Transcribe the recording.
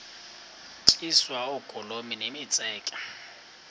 tyiswa oogolomi nemitseke